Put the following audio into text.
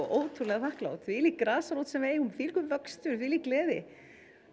ótrúlega þakklát þvílík grasrót sem við eigum og þvílíkur vöxtur og þvílík gleði